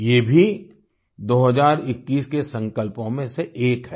ये भी 2021 के संकल्पों में से एक है